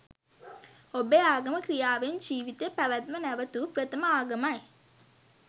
ඔබේ ආගම ක්‍රියාවෙන් ජීවිතය පැවැත්ම නැවතූ ප්‍රථම ආගමයි